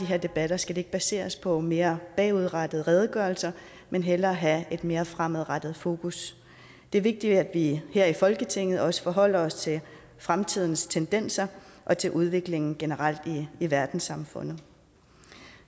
her debatter skal ikke baseres på mere bagudrettede redegørelser men hellere have et mere fremadrettet fokus det er vigtigt at vi her i folketinget også forholder os til fremtidens tendenser og til udviklingen generelt i verdenssamfundet